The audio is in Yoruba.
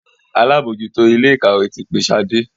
àlabòjuto Ilé-ìkàwé tí pé Shade.